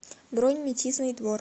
бронь метизный двор